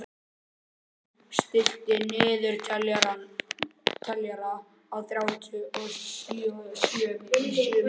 Auðunn, stilltu niðurteljara á þrjátíu og sjö mínútur.